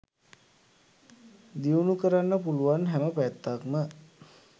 දියුණු කරන්න පුළුවන් හැම පැත්තක්ම